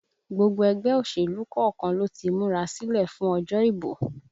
Gbogbo ẹgbẹ́ òṣèlú kọ̀ọ̀kan ló ti múra sílẹ̀ fún òjò ìbò